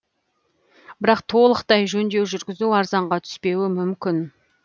бірақ толықтай жөндеу жүргізу арзанға түспеуі мүмкін